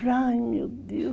Ai, meu Deus.